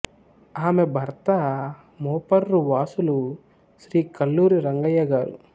ఆమె భర్త మోపర్రు వాసులు శ్రీ కల్లూరి రంగయ్య గారు